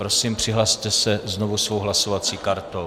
Prosím přihlaste se znovu svou hlasovací kartou.